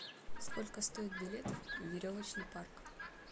сколько стоит билет в веревочный парк